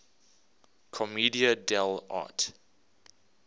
commedia dell arte